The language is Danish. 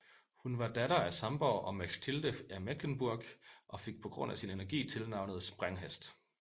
Hun var datter af Sambor og Mechtilde af Mecklenburg og fik på grund af sin energi tilnavnet Sprænghest